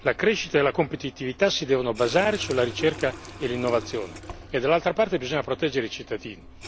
La crescita e la competitività si devono basare sulla ricerca e l'innovazione, e dall'altra parte bisogna proteggere i cittadini.